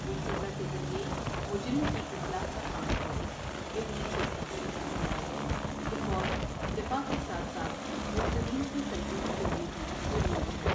وہ سزا کے ذریعے مجرم کی اصلاح کا خواہاں ہے ابن طقطقی کا خیال ہے کہ فوج دفاع کے ساتھ ساتھ مفسدین کی سرکوبی کے لیے بھی ضروری ہے ۔